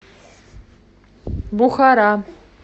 бухара